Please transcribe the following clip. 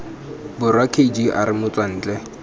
borwa k g r motswantle